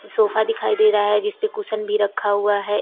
sofa दिखाई दे रहा है जिसपे कुशन भी रखा हुआ है एक--